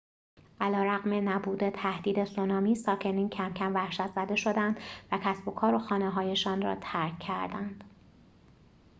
علیرغم نبود تهدید سونامی ساکنین کم‌کم وحشت‌زده شدند و کسب و کار و خانه‌هایشان را ترک کردند